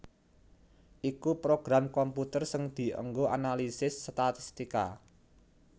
iku program komputer sing dianggo analisis statistika